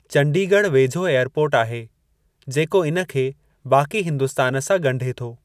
चंडीगढ़ वेझो एअरपोर्ट आहे, जेको इन खे बाक़ी हिन्दुस्तान सां ॻंढे थो।